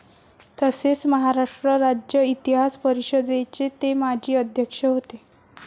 तसेच महाराष्ट्र राज्य इतिहास परिषदेचे ते माजी अध्यक्ष होते.